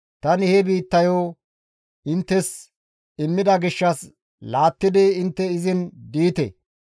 Tani he biittayo inttes immida gishshas laattidi intte izin diite.